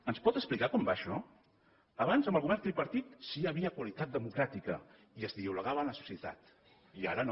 ens pot explicar com va això abans amb el govern tripartit sí que hi havia qualitat democràtica i es dialogava amb la societat i ara no